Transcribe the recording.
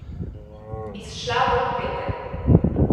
Izšla bo v petek.